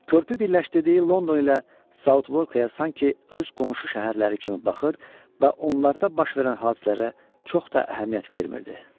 Körpü birləşdirdiyi London ilə Sauka sanki öz qonşu şəhərləri kimi baxır və onlarda baş verən hadisələrə çox da əhəmiyyət vermirdi.